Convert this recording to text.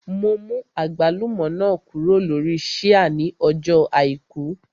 Mo mú àgbálùmọ́ náà kúrò lórí ṣíà ní ọjọ́ àìkú